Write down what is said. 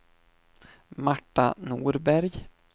Marta Norberg